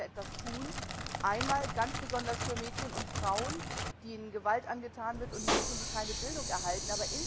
Da müssen wir etwas tun, einmal ganz besonders für Mädchen und Frauen, denen Gewalt angetan wird, und Mädchen, die keine Bildung erhalten.